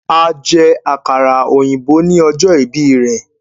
A jẹ àkàrà òyìnbó ní ọjọ́ ìbí rẹ̀